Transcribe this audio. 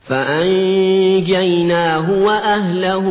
فَأَنجَيْنَاهُ وَأَهْلَهُ